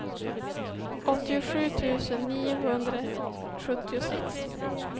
åttiosju tusen niohundrasjuttiosex